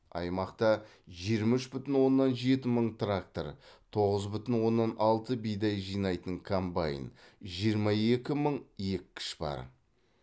аймақта жиырма үш бүтін оннан жеті мың трактор тоғыз бүтін оннан алты бидай жинайтын комбайн жиырма екі мың еккіш бар